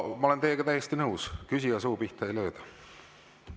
Ma olen teiega täiesti nõus, et küsija suu pihta ei lööda.